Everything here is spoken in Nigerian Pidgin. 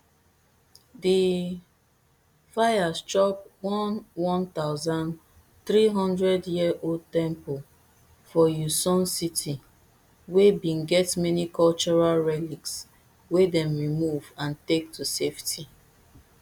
di fires chop one one thousand, three hundred year old temple for uiseong city wey bin get many cultural relics wey dem remove and take to safety